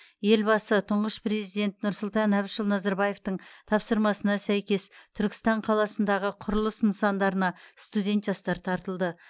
елбасы тұңғыш президент нұрсұлтан әбішұлы назарбаевтың тапсырмасына сәйкес түркістан қаласындағы құрылыс нысандарына студент жастар тартылды